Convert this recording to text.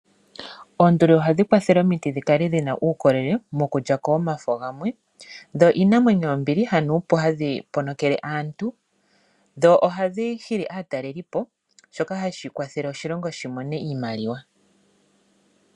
Oonduli ohadhi kwathele omiti dhikale dhina uukolele mokulyako omafo gamwe , dho iinamwenyo yombili hanuupu hadhi ponokele aantu . Dho ohadhi hili aatalelipo shoka hashi kwathele oshilongo shimone iimaliwa.